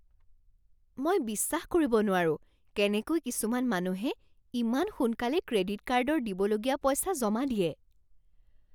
মই বিশ্বাস কৰিব নোৱাৰো কেনেকৈ কিছুমান মানুহে ইমান সোনকালে ক্ৰেডিট কাৰ্ডৰ দিবলগীয়া পইচা জমা দিয়ে।